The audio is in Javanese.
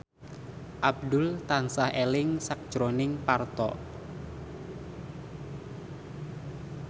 Abdul tansah eling sakjroning Parto